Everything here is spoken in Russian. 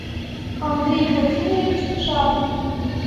андрей владимирович шадрин